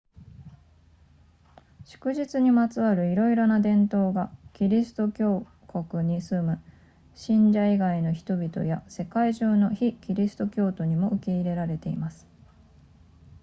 祝日にまつわるいろいろな伝統がキリスト教国に住む信者以外の人々や世界中の非キリスト教徒にも受け入れられています